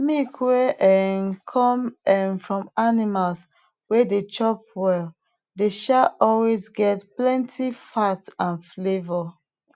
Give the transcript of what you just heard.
milk wey um come um from animals wey dey chop well dey um always get plenty fat and flavour